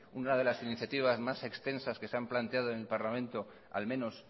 una de las iniciativas más extensas que se han planteado en el parlamento al menos